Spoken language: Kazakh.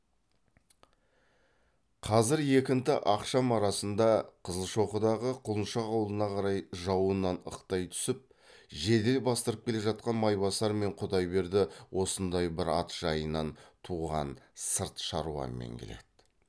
қазір екінті ақшам арасында қызылшоқыдағы құлыншақ аулына қарай жауыннан ықтай түсіп жедел бастырып келе жатқан майбасар мен құдайберді осындай бір ат жайынан туған сырт шаруамен келеді